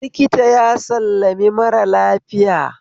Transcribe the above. Likita ya sallami mara lafiya